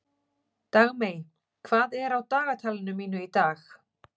Dagmey, hvað er á dagatalinu mínu í dag?